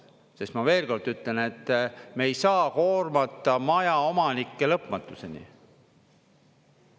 Sest ma veel kord ütlen, et me ei saa koormata majaomanikke lõpmatuseni.